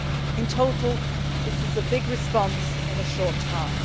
In total, this is a big response in a short time.